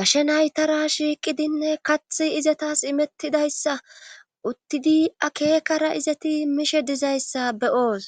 gashe naytara shiiqidinne kath izatas imettidayssa uttidi akeekara izati miishe dizayssa beyoos.